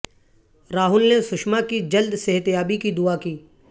راہل نے سشما کی جلد صحت یابی کی دعا کی